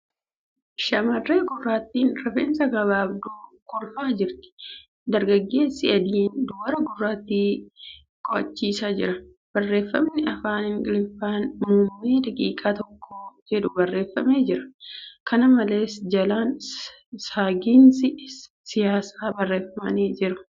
Shamarree gurraattiin rifeensa gabaabduu kolfaa jirti. Dargageessi adiin dubara gurraattii qo'achiisaa jira. Barreeffamni afaan Ingilifaan' muummee daqiiqaa tokkoo ' jedhu barreeffamee jira. Kana malees, jalaan ' saagiinsii siyaasaa' barreeffamni jedhu jira.